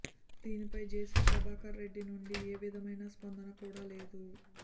దీనిపై జేసీ ప్రభాకర్ రెడ్డి నుంచి ఏ విధమైన స్పందన కూడా లేదు